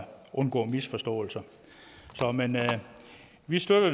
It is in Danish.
undgå misforståelser men vi støtter